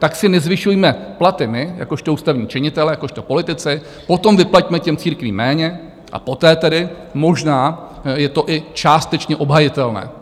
Tak si nezvyšujme platy my jakožto ústavní činitelé, jakožto politici, potom vyplaťme těm církvím méně a poté tedy možná je to i částečně obhajitelné.